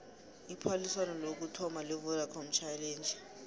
iphaliswano lokuthoma levodacom challenge